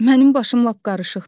Mənim başım lap qarışıqdır.